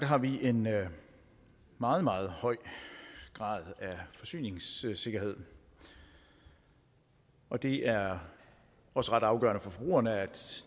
har vi en meget meget høj grad af forsyningssikkerhed og det er også ret afgørende for forbrugerne at